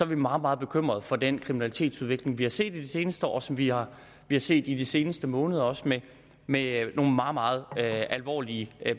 vi meget meget bekymret for den kriminalitetsudvikling vi har set i de seneste år og som vi har set i de seneste måneder også med med nogle meget meget alvorlige